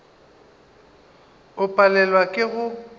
o palelwa le ke go